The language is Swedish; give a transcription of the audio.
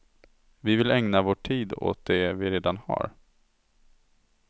Vi vill ägna vår tid åt de vi redan har.